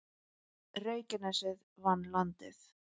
Reykjanesið vann Landið